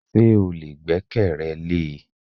Ṣé o lè gbẹ́kẹ̀rẹ lé e?